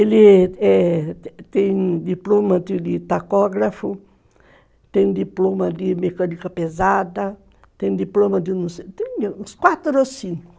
Ele, eh, tem diploma de tacógrafo, tem diploma de mecânica pesada, tem diploma de não sei o que, tem uns quatro ou cinco.